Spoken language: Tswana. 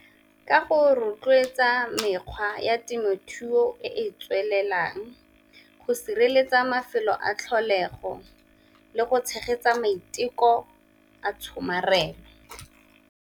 Ka go rotloetsa mekgwa ya temothuo e e tswelelang go sireletsa mafelo a tlholego le go tshegetsa maiteko a tshomarelo.